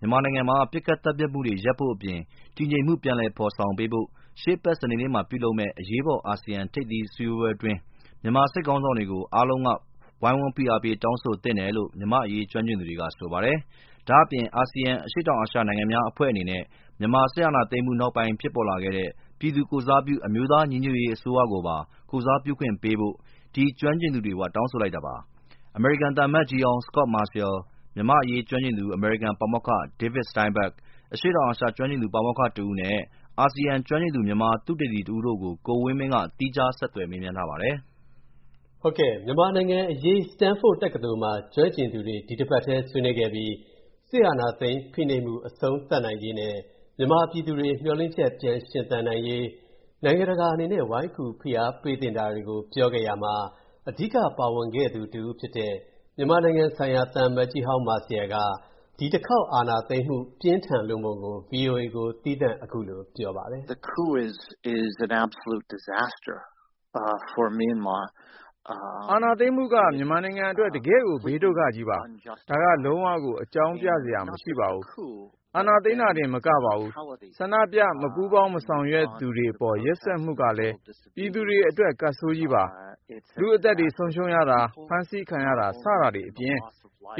မြန်မာနိုင်ငံမှာ ပစ်ခတ်သတ်ဖြတ်မူတွေရပ်ဖို့အပြင်၊ တည်ငြိမ်မူပြန်ဖော်ဆောင်ပေးဖို့၊ မြန်မာစစ်ခေါင်းဆောင်ကိုရှေ့အပတ်စနေနေ့မှာလုပ်မယ့် အရေးပေါ်အာဆီယံထိပ်သီးအစည်းအဝေးပွဲအတွင်း အားလုံးကဝိုင်းဖိအားပေးတောင်းဆိုသင့်တယ်လို့၊ မြန်မာ့အရေးကျွမ်းကျင်သူတွေက ဆိုပါတယ်။ ဒါ့အပြင်၊ ဒီအာဆီယံအရှေတောင်အာရှနိုင်ငံများအဖွဲ့အနေနဲ့၊ မြန်မာစစ်အာဏာသိမ်းမူနောက်ပိုင်းဖြစ်ပေါ်လာခဲ့တဲ့၊ ပြည်သူကိုယ်စားပြု အမျိုးသားညီညွှတ်ရေးအစိုးရကိုပါ ကိုယ်စားပြုခွင့်ပေးဖို့၊ ဒီကျွမ်းကျင်သူတွေကတောင်းဆိုလိုက်ပါတယ်။ အမေရိကန်သံအမတ်ကြီးဟောင်း Scot Marciel ၊ မြန်မာ့အရေးကျွမ်းကျင်သူ အမေရိကန်ပါမောက္ခ David Steinberg ၊ အရှေ.တောင်အာရှကျွမ်းကျင်သူပါမောက္ခတစ်ဦးနဲ့ အာဆီယံကျွမ်းကျင်သူ မြန်မာသုတေသီတစ်ဦးတို့ကို ကိုဝင်းမင်းက သီးခြားဆက်သွယ်မေးမြန်းထားပါတယ်။ မြန်မာနိုင်ငံအရေး Stanford တက္ကသိုလ်မှာ ကျွမ်းကျင်သူတွေ ဒီအပတ်ထဲဆွေးနွေးခဲ့ပြီး၊ စစ်အာဏာသိမ်းဖိနှိပ်မူအဆုံးသတ်နိုင်ရေးနဲ့ မြန်မာပြည်သူတွေမျှော်လင့်ချက်ပြန်ရှင်သန်နိုင်ရေး၊ နိုင်ငံတကာအနေနဲ့ ဝိုင်းကူဖိအားပေးသင့်တာတွေကို ပြောခဲ့ကြရာမှာ၊ အဓိက ပါဝင်ခဲ့သူတစ်ဦးဖြစ်တဲ့၊ မြန်မာနိုင်ငံဆိုင်ရာသံအမတ်ကြီးဟောင်း Marciel က ဒီတစ်ခေါက်အာဏာသိမ်းမူပြင်းထန်လွန်းပုံကို၊ VOA ကို သီးသန့် အခုလို ပြောပါတယ်။ “အာဏာသိမ်းမူက မြန်မာနိုင်ငံအတွက် တကယ့်ကို ဘေးဒုက္ခကြီးပါ။ ဒါက လုံးဝကို အကြောင်းပြစရာ မရှိပါဘူး။ အာဏာသိမ်းတာတင်မကပါဘူး၊ ဆန္ဒပြ၊ မပူးပေါင်းမဆောင်ရွက်သူတွေအပေါ် ရက်စက်မူကလည်း၊ ပြည်သူတွေအတွက် ကပ်ဆိုးကြီးပါ။ လူ့အသက်တွေဆုံးရှုံးရတာ၊ ဖမ်းဆီးခံရတာ စတာတွေအပြင်၊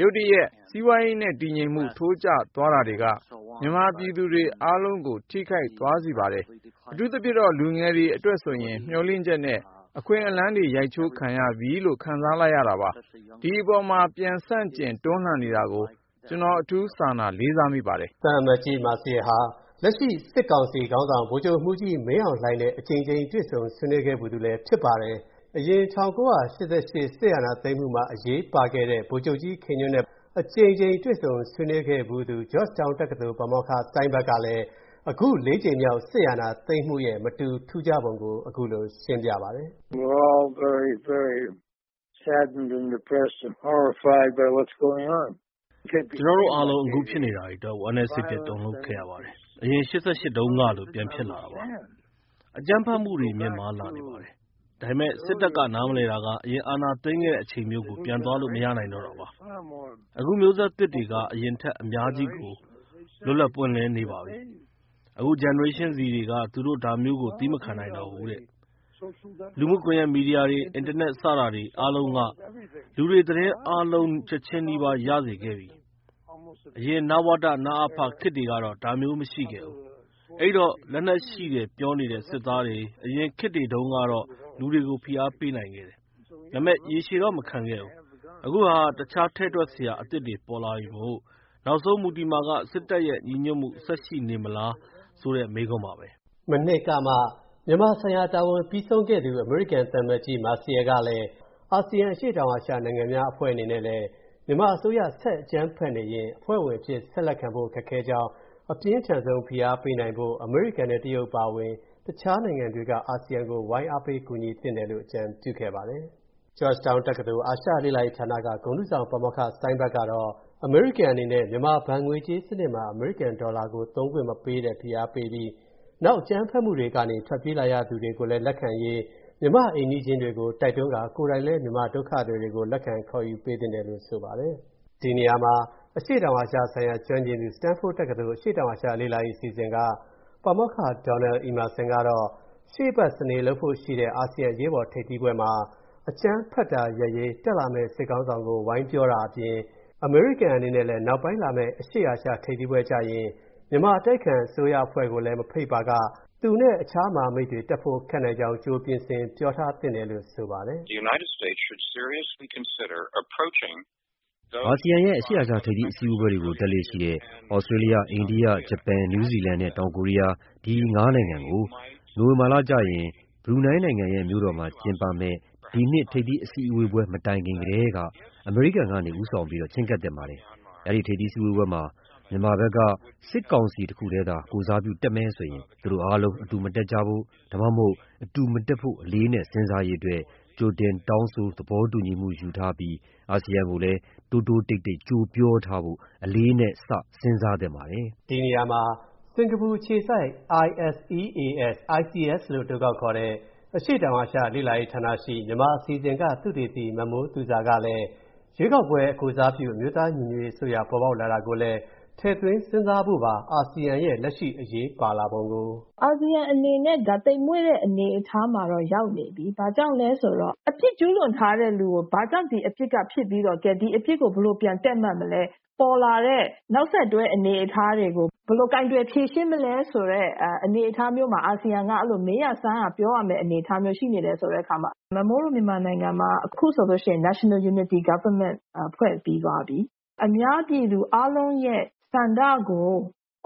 ရုတ်တရက် စီးပွားရေးနဲ့ တည်ငြိမ်မူထိုးကျသွားတာတွေက၊ မြန်မာပြည်သူတွေ အားလုံးကိုထိခိုက်သွားစေပါတယ်။ အထူးသဖြင့်တော့ လူငယ်တွေအတွက်ဆိုရင်၊ မျှော်လင့်ချက်နဲ့ အခွင့်အလမ်းတွေ ရိုက်ချိုးခံလိုက်ရပြီလို့ ခံစားလိုက်ရတာပါ၊ ဒီအပေါ် ပြန်ဆန့်ကျင်တွန်းလှန်နေတာကို ကျွန်တော် အထူး စာနာ၊ လေးစားမိပါတယ်။” သံအမတ်ကြီး Marciel ဟာ လက်ရှိစစ်ကောင်စီခေါင်းဆောင် ဗိုလ်ချုပ်မူကြီး မင်းအောင်လှိုင်နဲ့ အကြိမ်ကြိမ်တွေ့ဆုံဆွေးနွေးခဲ့ဖူးသူလည်းဖြစ်ပါတယ်။ အရင် ၁၉၈၈ ခုနှစ် စစ်အာဏာသိမ်းမူမှာအရေးပါခဲ့တဲ့ ဗိုလ်ချုပ်ကြီး ခင်ညွှန့်တို့နဲ့လည်း အကြိမ်ကြိမ်တွေ့ဆုံဆွေးနွေးခဲ့ဖူးသူ၊ Georgetown တက္ကသိုလ် ပါမောက္ခ Steinberg ကလည်း၊ အခု ၄ ကြိမ်မြောက်စစ်အာဏာသိမ်းမူရဲ့ မတူထူးခြားပုံကို အခုလိုရှင်းပြပါတယ်။ “ကျွန်တော်တို့အားလုံး အခုဖြစ်နေတာတွေအတွက် ဝမ်းနည်း စိတ်ပျက် တုန်လူပ်ခဲ့ရပါတယ်။ အရင် ၈၈ တုန်းကလို ပြန်ဖြစ်လာတာပါ။ အကြမ်းဖက်မူတွေမြင့်မားလာနေပါတယ်။ ဒါပေမဲ့ စစ်တပ်ကနားမလည်တာက၊ အရင်အာဏာသိမ်းခဲ့တဲ့အချိန်မျိုးကို ပြန်သွားလို့မရနိုင်တာ့တာပါ။ အခုမျိုးဆက်သစ်တွေက အရင်ထက် အများကြီးကို လွတ်လပ်ပွင့်လင်းနေပါပြီ။ အခု Generation Z တွေက၊ သူတို့ဒါမျိးကို သည်းမခံနိုင်တော့ဘူးတဲ့။လူမူမီဒီယာကွန်ယက်တွေ၊ အင်တာနက် စတာတွေ အားလုံးက၊ လူတွေ သတင်းအားလုံး ချက်ချင်းနီးပါးရစေခဲ့ပြီ။ အရင် နဝတ၊ နအဖ ခေတ်တွေကတော့ ဒါမျိုးမရှိခဲ့ဘူး။ အဲဒိတော့၊ လက်နက်ရှိတယ်ပြောနေတဲ့စစ်သားတွေ၊ အရင်ခေတ်တွေတုန်းကတော့ လူတွေကို ဖိအားပေးနိုင်ခဲ့တယ်၊ ဒါပေမဲ့ ရေရှည်တော့မခံခဲ့ဘူး။ အခုဟာက၊ တခြားထည့်တွက်စရာအသစ်တွေပေါ်လာပြီမို့၊ နောက်ဆုံးမူတည်မှာက၊ စစ်တပ်ရဲ့ ညီညွတ်မူဆက်ရှိနေမလားဆိုတဲ့ မေးခွန်းပါပဲ။” မနှစ်ကမှ မြန်မာဆိုင်ရာတာဝန်ပြီးဆုံးခဲ့သူ အမေရိကန်သံအမတ်ကြီး Marciel ကတော့၊ အာဆီယံ အရှေတောင်အာရှနိုင်ငံများအဖွဲ့အနေနဲ့လည်း၊ မြန်မာအစိုးရ ဆက်အကြမ်းဖက်နေရင်၊ အဖွဲ့ဝင်အဖြစ်ဆက်လက်ခံဖို့ ခက်ခဲကြောင်း၊ အပြင်းထန်ဆုံးဖိအားပေးနိုင်ဖို့၊ အမေရိကန်နဲ့ တရုတ်အပါအဝင် တခြားနိုင်ငံတွေက၊ အာဆီယံကို ဝိုင်းအားပေးကူညီသင့်တယ်လို့ အကြံပြုခဲ့ပါတယ်။ Georgetown တက္ကသိုလ် အာရှလေ့လာရေးဌာနက ဂုဏ်ထူးဆောင် ပါမောက္ခ Steinberg ကတော့၊ အမေရိကန်အနေနဲ့ မြန်မာဘဏ်ငွေးကြေးစနစ်မှာ အမေရိကန်ဒေါ်လာကို သုံးခွင့်မပေးတဲ့ ဖိအားပေးပြီး၊ နောက် အကြမ်းဖက်မူတွေကနေထွက်ပြေးလာရသူတွေလက်ခံရေးလည်း မြန်မာ့အိမ်နီးချင်းတွေကိုတိုက်တွန်းကာ၊ ကိုယ်တိုင်လဲ မြန်မာဒုက္ခသည်တွေကို လက်ခံခေါ်ယူပေးသင့်တယ်လို့ ဆိုပါတယ်။ ဒီနေရာမှာ၊ အရှေ.တောင်အာရှဆိုင်ရာ ကျွမ်းကျင်သူ Stanford တက္ကသိုလ် အရှေတောင်အာရှလေ့လာရေးအစီအစဉ်က ပါမောက္ခ Donald Emmerson ကတော့၊ ရှေ.အပတ်စနေလုပ်ဖို့ရှိတဲ့ အာဆီယံအရေးပေါ်ထိပ်သီးပွဲမှာ၊ အကြမ်းဖက်တာရပ်ရေး တက်လာမဲ့ စစ်ခေါင်းဆောင်ကို ဝိုင်းပြောပေးတာအပြင်၊ အမေရိကန်အနေနဲ့လည်း၊ နောက်ပိုင်းလာမဲ့ အရှေ.အာရှထိပ်သီးပွဲကျရင်၊ မြန်မာအတိုက်ခံအစိုးရအဖွဲ့ကိုလည်းမဖိတ်ပါက၊ သူ့နဲ့အခြားမဟာမိတ်တွေတက်ဖို့ခက်နိုင်ကြောင်း ကြိုပြင်ဆင် ပြောထားသင့်တယ်လို့ ဆိုပါတယ်။ “အာဆီယံရဲ့ အရှေ.အာရှထိပ်သီးပွဲတွေကို တက်လေ့ရှိတဲ့ သြစတျေးလျ၊ အိန္ဒိယ၊ ဂျပန်၊ နယူးဇီလန်နဲ့ တောင်ကိုရီးယား၊ ဒီ ၅ နိုင်ငံကို၊ နိုဝင်ဘာကျရင် ဘရူနိုင်းနိုင်ငံရဲ့ မြို.တော်မှာ ကျင်းပမဲ့ ဒီနှစ်ထိပ်သီးပွဲတိုင်ခင်ကထဲက၊ အမေရိကန်ကနေ ဦးဆောင်ပြီးတော့ချည်းကပ်သင့်ပါတယ်။ အဲ့ဒိထိပ်သီးစည်းဝေးပွဲမှာ မြန်မာဘက်က စစ်ကောင်စီတစ်ခုထဲသာ ကိုယ်စားပြုတက်မယ်ဆိုရင်၊ သူတို့အာလုံးအတူမတက်ကြဖို့၊ ဒါမှမဟုတ် အတူမတက်ဖို့ အလေးအနက်စဉ်းစားရေးအတွက်၊ ကြိုတောင်းဆိုသဘောတူညီမူယူထားပြီး၊ အာဆီယံကိုလည်း တိုးတိုးတိတ်တိတ် ကြိုပြောထားဖို့၊ အလေးအနက် စဉ်းစားသင့်ပါတယ်။” ဒီနေရာမှာ စင်္ကာပူအခြေစိုက် ISEAS လို့အတိုခေါက်ခေါ်တဲ့ အရှေတောင်အာရှလေ့လာရေးဌာနရှိ မြန်မာအစီအစဉ်က သုတေသီ မမိုးသူဇာကလည်း၊ ရွေးကောက်ပွဲကိုယ်စားပြု အမျိုးသားညီညွှတ်ရေးအစိုးရပေါ်ပေါက်လာတာကိုလည်း၊ ထည့်သွင်းစဉ်းစားဖို့ပါ အာဆီယံရဲ့ လက်ရှိအရေးပါလာပုံကို “အာဆီယံအနေနဲ့၊ ဒါ သိမ်မွေ့တဲ့အနေအထားမှာတော့ ရောက်နေပြီ။ ဘာကြောင့်လဲဆိုတော့ အပြစ်ကျူးလွန်ထားတဲ့လူကို၊ ဘာကြောင့် ဒီအဖြစ်က ဖြစ်ပြီးတော့၊ ကဲ ဒီ အပြစ်ကို ဘယ်လိုပြန်ပြီး တည့်မတ်မလဲ၊ ပေါ်လာတဲ့ နောက်ဆက်တွဲတွေကို ဘယ်လိုကိုင်တွယ်ဖြေရှင်းမလဲဆိုတဲ့ အနေအထားမျိုးမှာ၊ အာဆီယံက အဲ့လို မေးရ၊ စမ်းရ၊ ပြောရမဲ့ အနေအထားမျိုး ရှိနေတယ်ဆိုတဲ့အခါမှာ၊ မမိုးတို့ မြန်မာနိုင်ငံမှာက၊ အခုဆိုလို့ရှိရင် National Unity Government ဖွဲ့ပြီးသွားပြီ။ အများပြည်သူအားလုံးရဲ့ ဆန္ဒကို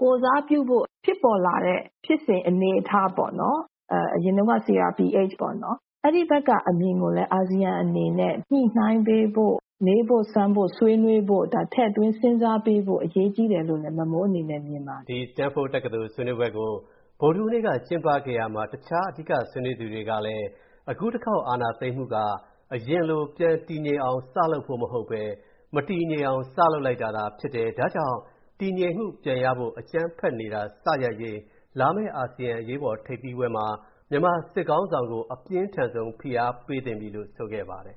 ၊ ကိုယ်စားပြုဖို့ဖြစ်ပေါ်လာတဲ့ ဖြစ်စဉ်အနေအထားပေါ့နော်၊ အရင်တုံးကတော့ CRPH ပေါ့နော်။ အဲ့ဒီဘက်က အမြင်ကိုလည်း အာဆီယံအနေနဲ့ ၊ညှိုနှိုင်းပေးဖို့၊ မေးဖို့၊ စမ်းဖို့၊ ဆွေးနွေးဖို့၊ ဒါထည့်သွင်းစဉ်းစားပေးဖို့ အရေးကြီးတယ်" လို့လဲ မမိုးအနေနဲ့ မြင်ပါတယ်။ ဒီ Stanford တက္ကသိုလ်ဆွေးနွေးပွဲကို ဗုဒ္ဓဟူးနေ့က ကျင်းပခဲ့ရာမှာ၊ တခြားအဓိကဆွေးနွေးသူတွေကလည်း၊ အခုတစ်ခေါက်အာဏာသိမ်းမူက၊ အရင်လို ပြန်တည်ငြိမ်အောင်စလုပ်ဖို့မဟုတ်ဘဲ၊ မတည်ငြိမ်အောင် စလုပ်လိုက်တာသာဖြစ်တယ်၊ ဒါကြောင့် တည်ငြိမ်မူပြန်ရဖို့၊ အကြမ်းဖက်နေတာစရပ်ရေး၊ လာမဲ့အာဆီယံအရေးပေါ်ထိပ်သီးပွဲမှာ၊ မြန်မာစစ်ခေါင်းဆောင်ကို အပြင်းထန်ဆုံး ဖိအားပေးသင့်ပြီလို့ ဆိုခဲ့ပါတယ်